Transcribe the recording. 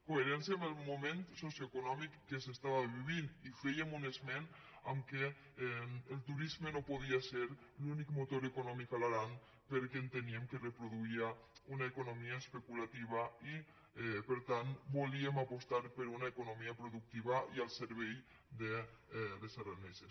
coherència amb el moment socioeconòmic que s’es·tava vivint i fèiem un esment al fet que el turisme no podia ser l’únic motor econòmic a l’aran perquè ente·níem que reproduïa una economia especulativa i per tant volíem apostar per una economia productiva i al servei dels aranesos